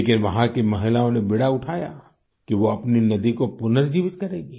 लेकिन वहाँ की महिलाओं ने बीड़ा उठाया कि वो अपनी नदी को पुनर्जीवित करेंगी